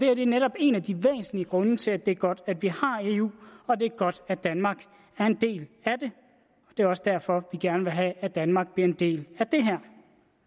er netop en af de væsentlige grunde til at det er godt at vi har eu og det er godt at danmark er en del af det det er også derfor vi gerne vil have at danmark bliver en del af det her